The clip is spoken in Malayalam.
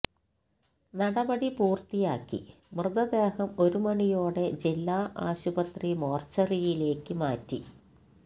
നടപടി പൂര്ത്തിയാക്കി മൃതദേഹം ഒരുമണിയോടെ ജില്ലാ ആശുപത്രി മോര്ച്ചറിയിലേക്ക് മാറ്റി